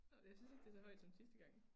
Nåh jeg synes ikke det er så højt som sidste gang